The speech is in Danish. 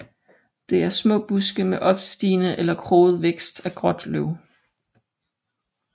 Det er små buske med opstigende eller kroget vækst og gråt løv